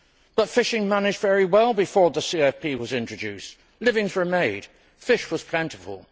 But fishing managed very well before the CFP was introduced, livings were made, fish was plentiful.